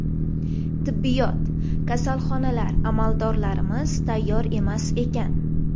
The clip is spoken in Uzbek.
Tibbiyot, kasalxonalar, amaldorlarimiz tayyor emas ekan.